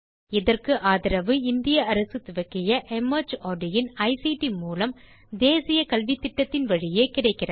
இதற்கு ஆதரவு இந்திய அரசு துவக்கிய மார்ட் இன் ஐசிடி மூலம் தேசிய கல்வித்திட்டத்தின் வழியே கிடைக்கிறது